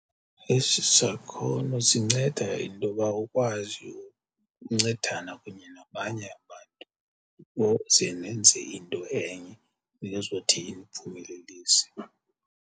Esi sakhono sinceda intoba ukwazi ukuncedana kunye nabanye abantu ukuze nenze into enye nezothi iniphumelelise.